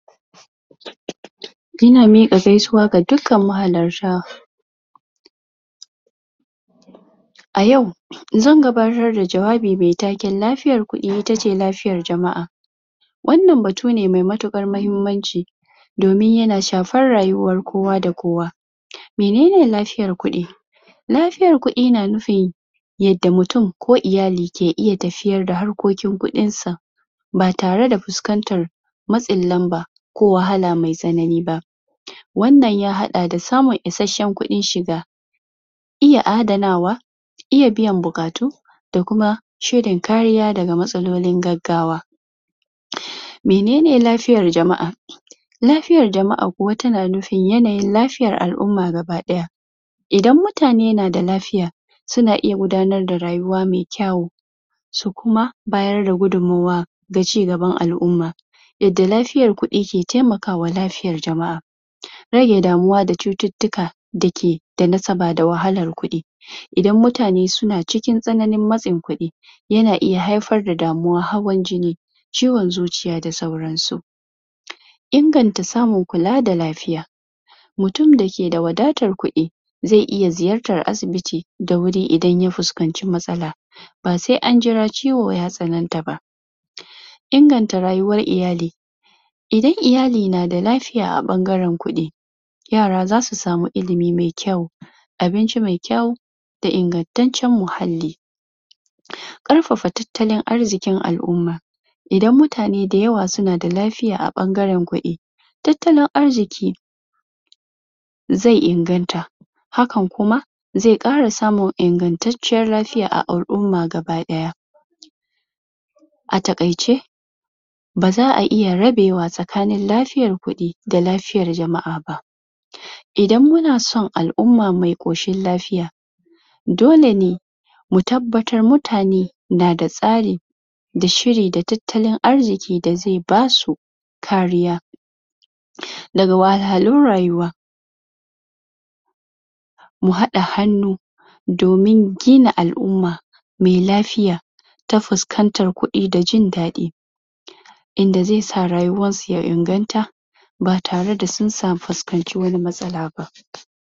Ina miƙa gaisuwa ga dukan mahalarta a yau zan gabatar da jawabi me taken lafiyar kuɗi itace lafiyar jama'a wannan batu ne me mutukar mahimmanci domin yana shafar rayuwar kowa da kowa menene lafiyar kuɗi lafiyar kuɗi na nufin yada mtum ko iyali ke iya tafiyar da harkokin kuɗinsa ba tare da fuskanta matsinlanba ko wahala me tsanani ba wannan ya haɗa da samun isheshen kuɗin shiga iya adanawa iya biyan buƙatu da kuma shirin kariya daga matsallolin gagawa menene lafiyar jama'a lafiyar jama'a kuwa ta nufin yanayin lafiyar al'umma gaba ɗaya idan mutane na da lafiya sanu iya gudanar da rayuwa me kyawu su kuma bayar da gudunmuwa da cigaban al'umma inda lafiyar kuɗi ke taimaka wa lafiyar jama'a rage damuwa da cuttutuka dake da nasaba da wahalar kuɗi idan mutane suna cikin tsananin matsin kuɗi yana iya haifar da damuwar hawan jin ciwon zuciya da sawran su inganta samun kula da lafiya mutum dake da wadatar kuɗi ze iya ziyartar asibiti da wuri idan ya fuskanci matsala ba se an jira ciwo ya tsananta ba inganta rayuwar iyali idan iyali na da lafiya a ɓangaran kuɗi yara zasu samu ilimi me kyau abinci me kyau da ingantacen muhalli ƙarfafa talttalin arzikin al'umma idan mutane dayawa suna da lafiya a ɓangaran kuɗi talttalin arziki ze inganta hakkan kuma ze ƙara samun ingantaciyar lafiya a al'umma gaba ki ɗaya a takaice ba za'a iya rabewa tsakanin lafiyar kuɗi da lafiyar jama'a ba idan muna son al'umma me koshin lafiya dole ne mu tabbatar mutane na da tsari da shiri da talttalin arziki da ze basu kariya daga wahalhalun rayuwa mu haɗa hannu domin gina al'umma me lafiya ta fuskantar kuɗi da jindaɗi inda ze sa rayuwansu ya inganta ba tare da sun fuskanci wani matsala ba.